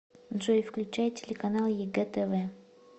джой включай телеканал егэ тв